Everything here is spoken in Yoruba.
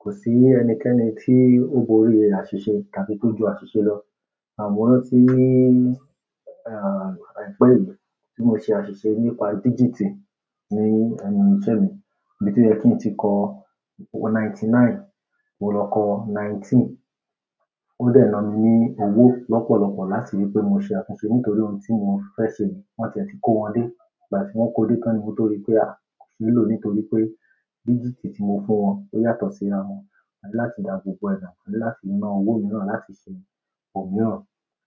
Kò sí ẹnikẹ́ni tí ó borí àṣìṣe tàbí tó ju àṣìṣe lọ. Àmọ́ ní ọdún tí, ah, àìpé yìí tí mo ṣe àṣìṣe nípa dígítì ní ẹnu ìṣẹ́ mi, ibi tó yẹ kí n tíì kó ninety-nine, mo lọ kọ nineteen. Ó dẹ́ náà mí ní owó lọ́pọ̀lọ̀pọ̀ láti rí pé mo ṣe àtúnṣe nítorí ohun tí mo fẹ́ ṣe wọn tiẹ̀ ti kó wọn dé. Ìgbà tí wọ́n kó dé tán ni mo rí i pé a kò ṣe lò nítorí pé dígítì tí mo fún wọn ó yàtọ̀ sí ara wọn. A ní láti dá gbogbo ẹ̀ dà, a ní láti ná owó mìíràn láti ṣe ohun mìíràn.